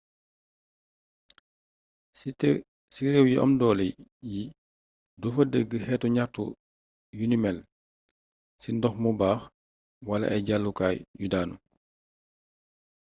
ci réew yu am doolé yi dofa dégg xétu gnaxtu yuni mél ci ndox mu baax wala ay jallu kaay yu daanu